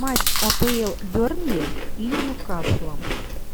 матч апл бернли и ньюкаслом